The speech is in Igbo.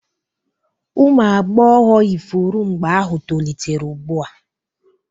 ụmụ agbọghọ ifuru mgbe ahụ tolitere ugbu a